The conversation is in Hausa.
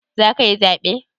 Za ka yi zaɓe?